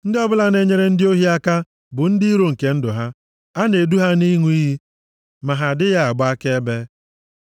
Ndị ọbụla na-enyere ndị ohi aka bụ ndị iro nke ndụ ha, a na-edu ha nʼịṅụ iyi, ma ha adịghị agba akaebe.